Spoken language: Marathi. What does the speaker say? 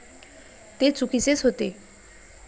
ते चुकीचेच होते.